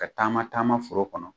Ka taama taama foro kɔnɔ